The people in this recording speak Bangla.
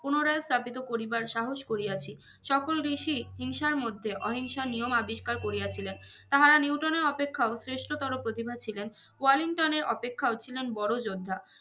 পুনরায় স্থাপিত করিবার সাহস করিয়াছি সকল দেশি হিংসার মধ্যে অহিংসা নিয়ম আবিষ্কার করিয়া ছিলেন তাহারা নিউটনের অপেক্ষা শ্রেষ্ঠতর প্রতিভা ছিলেন ওয়েলিংটন এর অপেক্ষাও ছিলেন বড় যোদ্ধা